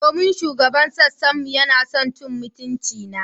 Domin shugaban sassan mu yana son cin mutuncina.